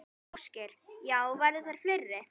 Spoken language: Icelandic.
Ásgeir: Já, verða þær fleiri?